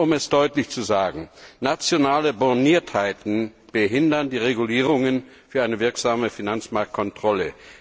Und um es deutlich zu sagen Nationale Borniertheiten behindern die Regelungen für eine wirksame Finanzmarktkontrolle.